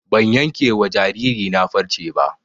Ban yanke wa jariri na farce ba